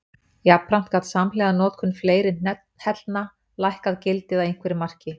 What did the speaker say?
Jafnframt gat samhliða notkun fleiri hellna hækkað gildið að einhverju marki.